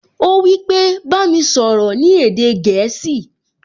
Ó wípé, "Bá mi sọ̀rọ̀ ní èdè gẹ̀ẹ́sì"